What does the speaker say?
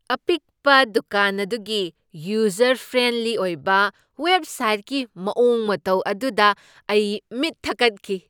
ꯑꯄꯤꯛꯄ ꯗꯨꯀꯥꯟ ꯑꯗꯨꯒꯤ ꯌꯨꯖꯔ ꯐ꯭ꯔꯦꯟꯂꯤ ꯑꯣꯏꯕ ꯋꯦꯕꯁꯥꯏꯠꯀꯤ ꯃꯑꯣꯡ ꯃꯇꯧ ꯑꯗꯨꯗ ꯑꯩ ꯃꯤꯠ ꯊꯀꯠꯈꯤ ꯫